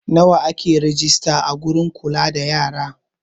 Nawa ake rejista a wurin kula da yara?